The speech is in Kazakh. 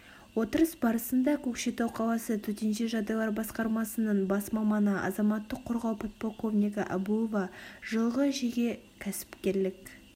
отырыс барысында көкшетау қаласы төтенше жағдайлар басқармасының бас маманы азаматтық қорғау подполковнигі әбуова жылғы жеке кәсіпкерлік